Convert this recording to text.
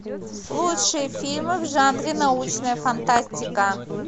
лучшие фильмы в жанре научная фантастика